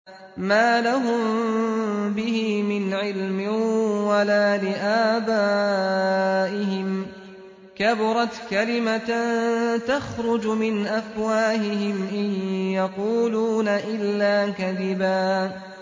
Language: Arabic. مَّا لَهُم بِهِ مِنْ عِلْمٍ وَلَا لِآبَائِهِمْ ۚ كَبُرَتْ كَلِمَةً تَخْرُجُ مِنْ أَفْوَاهِهِمْ ۚ إِن يَقُولُونَ إِلَّا كَذِبًا